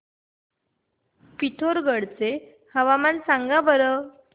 पिथोरगढ चे हवामान सांगा बरं